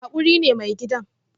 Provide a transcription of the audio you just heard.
Hakuri ne mai gidan